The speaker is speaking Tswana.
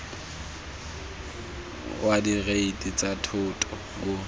wa direiti tsa thoto o